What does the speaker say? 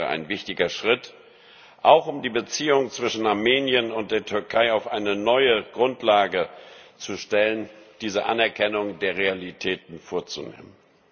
Es wäre ein wichtiger Schritt, auch um die Beziehungen zwischen Armenien und der Türkei auf eine neue Grundlage zu stellen, diese Anerkennung der Realitäten vorzunehmen.